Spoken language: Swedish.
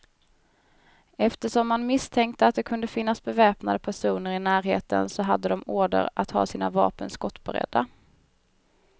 Eftersom man misstänkte att det kunde finnas beväpnade personer i närheten, så hade de order att ha sina vapen skottberedda.